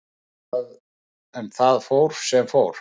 En það fór sem fór.